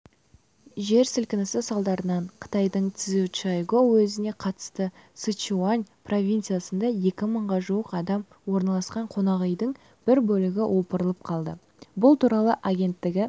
жер сілкінісі салдарынан қытайдың цзючжайгоу уезіне қарасты сычуань провинциясында екі мыңға жуық адам орналасқан қонақүйдің бір бөлігі опырылып қалды бұл туралы агенттігі